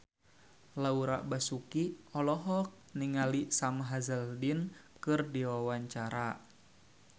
Laura Basuki olohok ningali Sam Hazeldine keur diwawancara